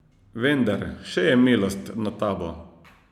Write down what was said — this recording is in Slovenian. Vendar, še je milost nad tabo!